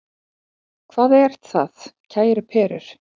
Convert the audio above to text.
Hvað er það, kæru perur?